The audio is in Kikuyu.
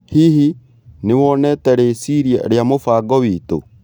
Hihi, nĩ wonete rĩciria rĩa mũbango witũ?